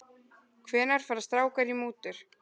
Hvenær fara strákar í mútur?